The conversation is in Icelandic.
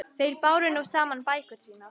Þeir báru nú saman bækur sínar.